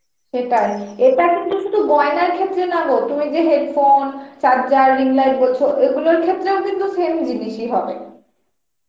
সেটাই, ইটা কিন্তু শুধু গয়নার ক্ষেত্রে না গো তুমি যে headphone, charger, ring light বলছো এগুলোর ক্ষেত্রেও কিন্তু same জিনিস ই হবে